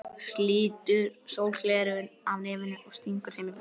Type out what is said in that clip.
Slítur sólgleraugun af nefinu og stingur þeim í vasann.